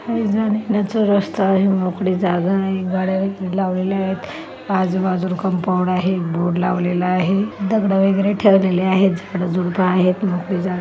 काही जाण्यायेण्याचा रस्ता आहे मोकळी जागा आहे गाड्या लावलेल्या आहेत आजूबाजूला कंपाऊंड आहे बोर्ड लावलेलं आहे दगड़ वगैरे ठेवलेले आहेत झाडझुडप आहेत मोकळी जागा --